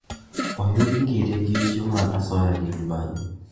Oyud Ngire gi richo mar asoya gi mibadhi